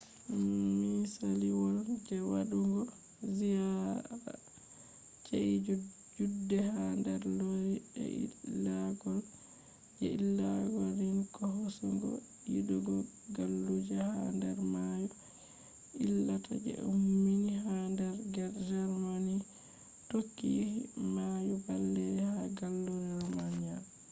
misaliwol je wadugo ziyara chi’eji judde ha der loire je ilagol je ilagol rhine ko hosugo yidugo galluje ha der mayo je ilata je ummi ha der germany tokki yahi mayo baleri ha gallure romania